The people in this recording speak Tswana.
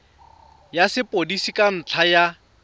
ya sepodisi ka ntlha ya